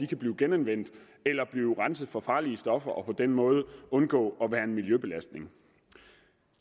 kan blive genanvendt eller blive renset for farlige stoffer og på den måde undgå at være en miljøbelastning